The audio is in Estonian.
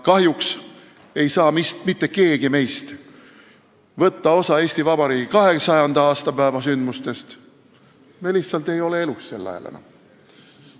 Kahjuks ei saa vist mitte keegi meist võtta osa Eesti Vabariigi 200. aastapäeva sündmustest – me lihtsalt ei ole sel ajal enam elus.